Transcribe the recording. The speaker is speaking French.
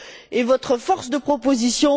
et sur votre force de proposition.